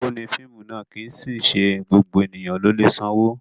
Owó ni fíìmù ná, kì í sì í ṣe gbogbo ènìyàn ló lè sanwó.